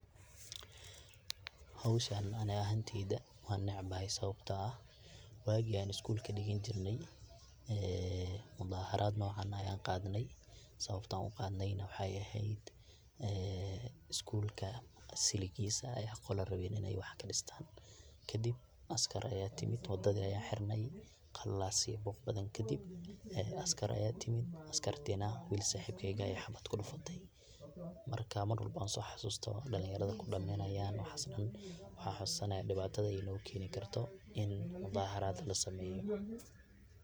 howshan ani ahanteyda wan necbahay sababto ah waagi an isgulka dhigani jirnay ee mudaharad nocan ayan qadnay sababta an uqadnay na waxay ehed, isgulka siligiisa aya qola rabeen in ay wax kadhistan, kadib askar aya timid wadada ayan xirnay, qalalaasa iyo buuq badan kadib askar aya timid, askarti na wil saxibkey ah ayay xaabad kudhafatay.,marka mar walbo on soo xasusto dhalin yarada kudhimanayan waxas dhan waxan xasuusana dhibatada ay noo keni karto ini mudaaharad lasameeyo